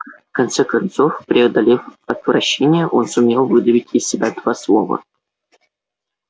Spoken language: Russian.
в конце концов преодолев отвращение он сумел выдавить из себя два слова